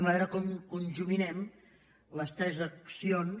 veurem com conjuminem les tres accions